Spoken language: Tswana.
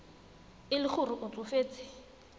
e le gore o tsofetse